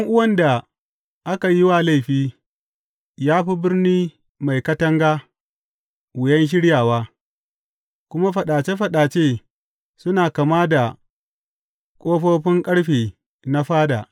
Ɗan’uwan da aka yi wa laifi ya fi birni mai katanga wuyan shiryawa, kuma faɗace faɗace suna kama da ƙofofin ƙarfe na fada.